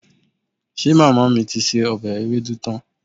Ṣe màmá mi ti se ọbẹ̀ ewédú tán?